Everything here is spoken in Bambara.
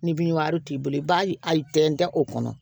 Ni binwari t'i bolo i b'a a tɛntɛn o kɔnɔ